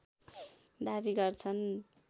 दाबी गर्छन्